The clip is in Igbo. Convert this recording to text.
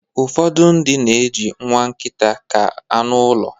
ụfọdụ ndị na-eji nwa nkịta ka anụ ụlọ